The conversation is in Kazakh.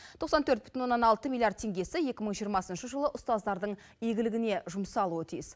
тоқсан төрт бүтін оннан алты миллиард теңгесі екі мың жиырмасыншы жылы ұстаздардың игілігіне жұмсалуы тиіс